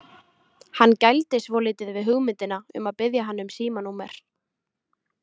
Hann gældi svolítið við hugmyndina um að biðja hann um símanúmer.